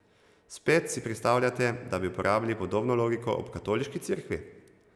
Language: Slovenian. Spet, si predstavljate, da bi uporabili podobno logiko ob katoliški cerkvi?